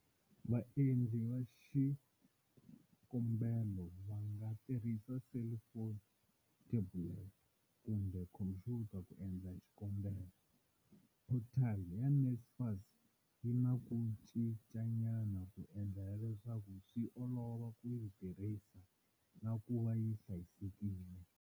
Vaendli va xikombelo va nga tirhisa selifoni, thebulete kumbe khomphyuta ku endla xikombelo. Phothali ya NSFAS yi na ku cinca nyana ku endlela leswaku swi olova ku yi tirhisa na kuva yi hlayisekile.